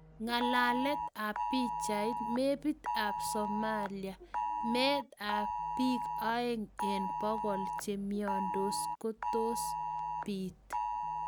Ng'alaalet ap piichayit, meebit ap somalia, meet ap piik aeng' eng' pogol cheimyandos, ko toos biit